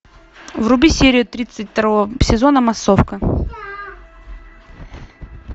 вруби серию тридцать второго сезона массовка